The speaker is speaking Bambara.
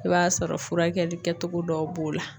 I b'a sɔrɔ furakɛli kɛtogo dɔw b'o la.